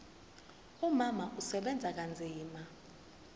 umama usebenza kanzima